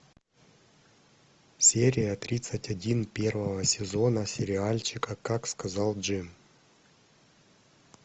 серия тридцать один первого сезона сериальчика как сказал джим